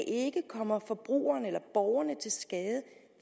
ikke kommer forbrugerne eller borgerne til skade